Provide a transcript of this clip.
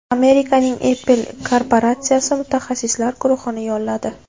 Amerikaning Apple korporatsiyasi mutaxassislar guruhini yolladi.